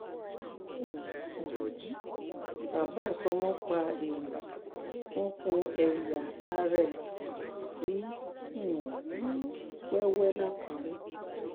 um bàbá àtọmọ pa gbéńyà wọn kún ẹyà ara ẹ sí um wẹwẹ làkúrẹ